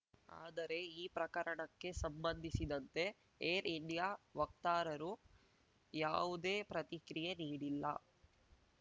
ಆದರೆ ಈ ಪ್ರಕರಣಕ್ಕೆ ಸಂಬಂಧಿಸಿದಂತೆ ಏರ್‌ ಇಂಡಿಯಾ ವಕ್ತಾರರು ಯಾವುದೇ ಪ್ರತಿಕ್ರಿಯೆ ನೀಡಿಲ್ಲ